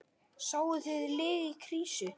Sáuð þið lið í krísu?